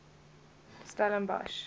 stellenbosch